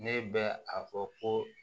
Ne bɛ a fɔ ko